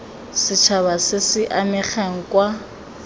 setšhaba se se amegang kwa